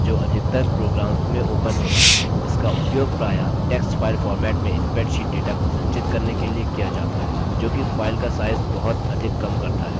इसका उपयोग प्रायः text file format में spreadsheet data को संचित करने के लिए किया data है जो कि file का size बहुत अधिक कम करता है और आसानी से स्थानांतरित होता है